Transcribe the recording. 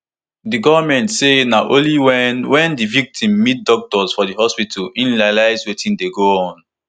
di goment say na only wen wen di victim meet doctors for di hospital im realise wetin dey go on